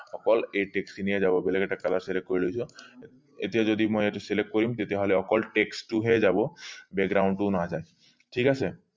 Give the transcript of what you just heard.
অকল এই text খিনি এই যাব বেলেগ এটা color select কৰি লৈছো এতিয়া যদি মই এইটো select কৰিম তেতিয়া হলে অকল text টো হে যাব background টো নাযায় ঠিক আছে